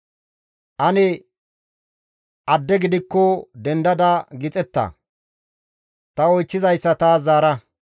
«Ane adde gidikko dendada gixeta; ta oychchizayssa taas zaara.